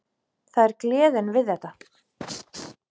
Það er gleðin við þetta.